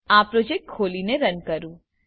ચાલો આ પ્રોજેક્ટ ખોલીને રન કરું